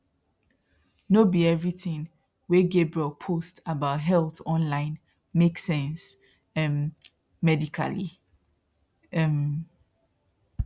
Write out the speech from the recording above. no be everything wey gabriel post about health online make sense um medically um